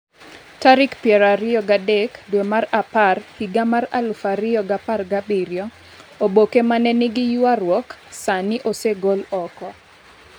tarik piero ariyo gi adek dwe mar apar higa mar aluf ariyo gi apar gi abiriyo Oboke ma ne nigi ywaruok sani osegol oko.